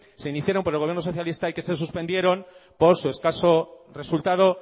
se iniciaron por el gobierno socialista y que se suspendieron por su escaso resultado